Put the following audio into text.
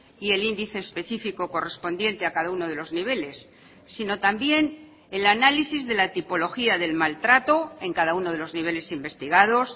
y el índice específico correspondiente a cada uno de los niveles sino también el análisis de la tipología del maltrato en cada uno de los niveles investigados